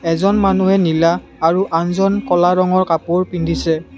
এইজন মানুহে নীলা আৰু আনজন ক'লা ৰঙৰ কাপোৰ পিন্ধিছে।